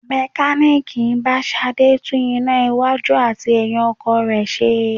Mekaniiki bá Ṣadé tún iná iwájú àti ẹyin ọkọ̀ rẹ ṣe.